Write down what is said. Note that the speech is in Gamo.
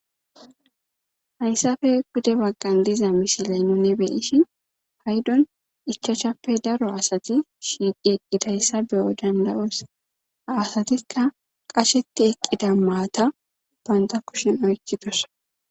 Hayssafe gude baggan diza mishiley none beyishin paydon ichachappe daro asati shiiqi eqqidayssa beyo dandayos aasatikka qasheti eqqida maata banta kushin oykidos